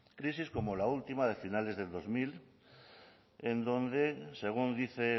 crisis como la última de finales del dos mil en donde según dice